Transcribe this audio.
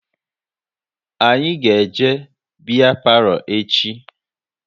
Anyị ga eje biya palo echi